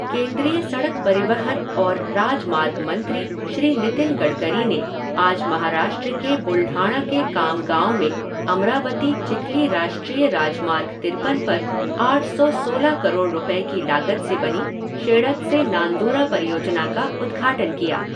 केन्द्रीय सड़क परिवहन और राजमार्ग मंत्री श्री नितिन गडकरी ने आज महाराष्ट्र के बुलढाणा के खामगांव में अमरावती चिखली राष्ट्रीय राजमार्ग तिरपन पर आठ सौ सोलह करोड़ रुपये की लागत से बनी शेळद से नांदूरा परियोजना का उद्घाटन किया।